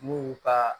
N'u y'u ka